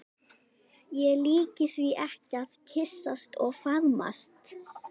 Ég líki því ekki við að kyssast og faðmast.